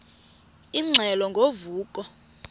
ingxelo ngo vuko